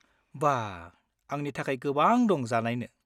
बा, आंनि थाखाय गोबां दं जानायनो।